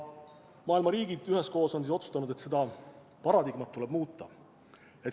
Maailma riigid üheskoos on nüüd otsustanud, et seda paradigmat tuleb muuta.